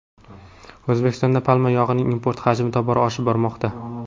O‘zbekistonda palma yog‘ining import hajmi tobora oshib bormoqda.